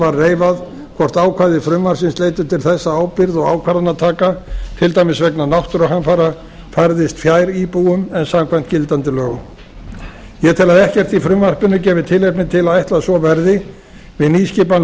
var reifað hvort ákvæði frumvarpsins leiddu til þess að ábyrgð og ákvarðanataka til dæmis vegna náttúruhamfara færðist fjær íbúum en samkvæmt gildandi lögum ég tel að ekkert í frumvarpinu gefi tilefni til að ætla að svo verði við nýskipan